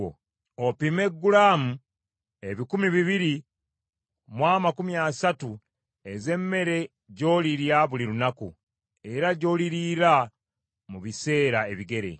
Opime gulaamu ebikumi bibiri mu amakumi asatu ez’emmere gy’olirya buli lunaku, era gy’oliriira mu biseera ebigere.